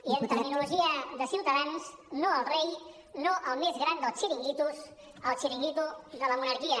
i en terminologia de ciutadans no al rei no al més gran dels xiringuitos el xiringuito de la monarquia